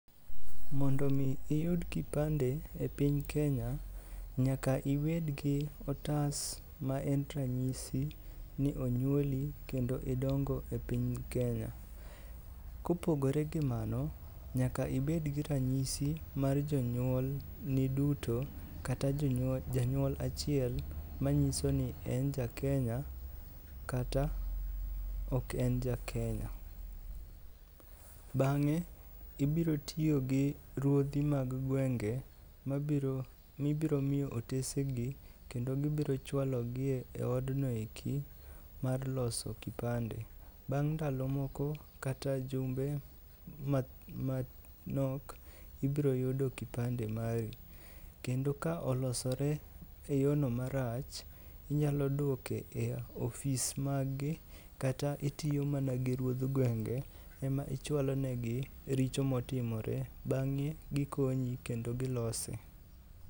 Mondo omi iyud kipande e piny Kenya nyaka ibed gi otas ma en ranyisi ni onyuoli kendo idongo e piny Kenya. Kopogore gi mano, nyaka ibed gi ranyisi mar jonyuolni duto kata janyuol achiel ma nyiso ni en jakenya kata ok en jakenya. Bang'e ibiro tiyo gi ruodhi mag gwenge mibiro miyo otese gi kendo gibiro chwalogi e odno eki mar loso kipande. Bang' ndalo moko kata jumbe moko manok, ibiro yudo kipande mari. Kendo ka olosore e yono marach inyalo dwoko e ofis maggi kata itiyo mana gi ruodh gwenge ema ichwalonegi richo motimore bang'e gikonyi kendo gilose.